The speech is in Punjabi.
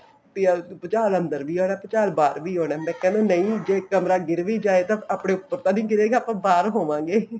ਵੀ ਭੂਚਾਲ ਅੰਦਰ ਵੀ ਆਉਣਾ ਬਾਹਰ ਵੀ ਆਉਣਾ ਬੱਚਿਆਂ ਨੂੰ ਨਹੀਂ ਜੇ ਕਮਰਾ ਗਿਰ ਵੀ ਜਾਵੇ ਆਪਣੇ ਉੱਪਰ ਤਾਂ ਨੀ ਗਿਰੇਗਾ ਆਪਾਂ ਬਾਹਰ ਹੋਵੇਂਗੇ